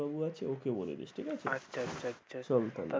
বাবু আছে ওকে বলেদিস। ঠিকাছে? আচ্ছা আচ্ছা আচ্ছা চল তাহলে।